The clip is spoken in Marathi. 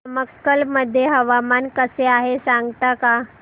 नमक्कल मध्ये हवामान कसे आहे सांगता का